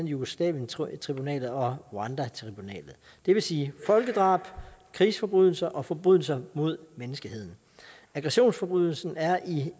jugoslavientribunalet og rwandatribunalet det vil sige folkedrab krigsforbrydelser og forbrydelser mod menneskeheden aggressionsforbrydelsen er i